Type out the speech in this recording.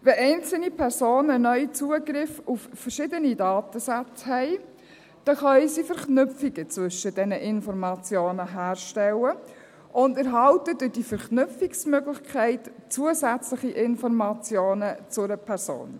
Wenn einzelne Personen neu Zugriff auf verschiedene Datensätze haben, dann können sie Verknüpfungen zwischen diesen Informationen herstellen und erhalten durch diese Verknüpfungsmöglichkeit zusätzliche Informationen zu einer Person.